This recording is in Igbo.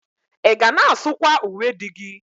Ị ga na-asụkwa uwe di gị?